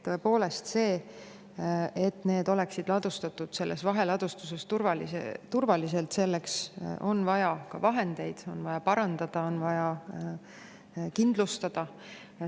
Tõepoolest, et need oleksid ladustatud seal vaheladustuses turvaliselt, selleks on vaja vahendeid: on vaja parandada, on vaja kindlustada.